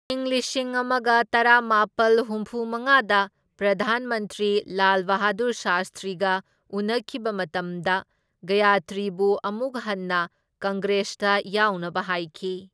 ꯢꯪ ꯂꯤꯁꯤꯡ ꯑꯃꯒ ꯇꯔꯥꯃꯥꯄꯜ ꯍꯨꯝꯐꯨ ꯃꯉꯥꯗ ꯄ꯭ꯔꯙꯥꯟ ꯃꯟꯇ꯭ꯔꯤ ꯂꯥꯜ ꯕꯍꯥꯗꯨꯔ ꯁꯥꯁꯇ꯭ꯔꯤꯒ ꯎꯅꯈꯤꯕ ꯃꯇꯝꯗ ꯒꯌꯇ꯭ꯔꯤꯕꯨ ꯑꯃꯨꯛ ꯍꯟꯅ ꯀꯪꯒ꯭ꯔꯦꯁꯇ ꯌꯥꯎꯅꯕ ꯍꯥꯏꯈꯤ꯫